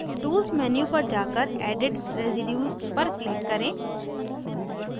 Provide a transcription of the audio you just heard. tools menu पर जाकर edit residues पर click करें